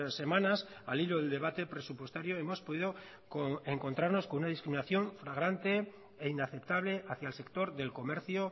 semanas al hilo del debate presupuestario hemos podido encontrarnos con una discriminación fragrante e inaceptable hacia el sector del comercio